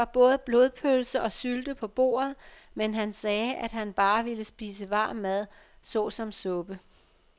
Der var både blodpølse og sylte på bordet, men han sagde, at han bare ville spise varm mad såsom suppe.